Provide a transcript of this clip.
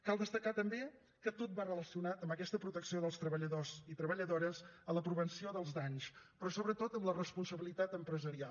cal destacar també que tot va relacionat amb aquesta protecció dels treballadors i treballadores a la prevenció dels danys però sobretot en la responsabilitat empresarial